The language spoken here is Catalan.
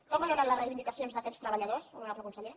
com valora les reivindicacions d’aquests treballadors honorable conseller